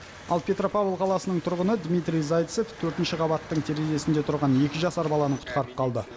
ал петропавл қаласының тұрғыны дмитрий зайцев төртінші қабаттың терезесінде тұрған екі жасар баланы құтқарып қалды